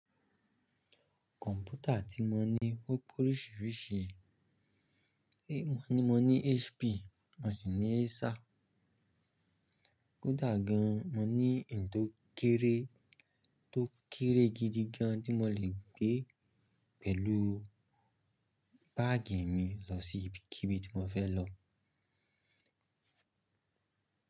Kọ̀mpútà tí mo ní o pe oríṣiríṣi, mo ní HP, mo sì ní Acer. Ko dà gan an mo ní ẹn tó kéré, tó kéré gidi gan tí mo lè gbé pẹ̀lú báàgì mi lọ sí ibikíbi tí mo fẹ́ lọ.